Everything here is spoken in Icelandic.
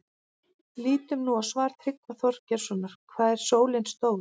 Lítum nú á svar Tryggva Þorgeirssonar, Hvað er sólin stór?